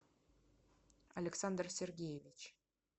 александр сергеевич